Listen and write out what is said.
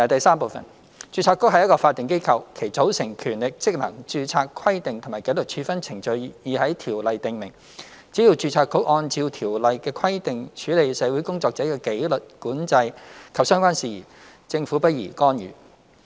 三註冊局是一個法定機構，其組成、權力、職能、註冊規定及紀律處分程序已在《條例》訂明，只要註冊局按照《條例》的規定處理社會工作者的紀律管制及相關事宜，政府不宜干預。